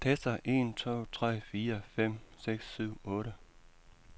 Tester en to tre fire fem seks syv otte.